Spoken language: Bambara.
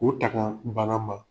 U taga bana ma.